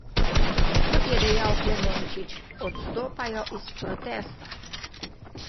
Kot je dejal Klemenčič, odstopajo iz protesta.